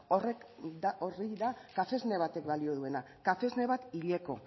hori da kafesne batek balio duena kafesne bat hileko